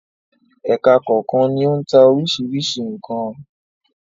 Ẹka kọ̀ọ̀kan ni ó ń ta oríṣiríṣi nǹkan.